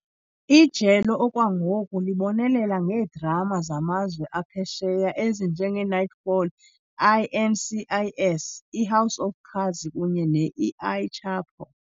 Ijelo okwangoku libonelela ngeedrama zamazwe aphesheya ezinjengeKnightfall, INCIS, iHouse of Cards kunye ne-El Chapo.